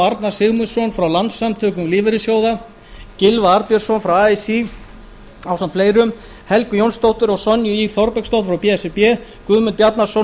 arnar sigurmundsson frá landssamtökum lífeyrissjóða gylfa arnbjörnsson frá así núll helgu jónsdóttur og sonju ýr þorbergsdóttur frá b s r b guðmund bjarnason og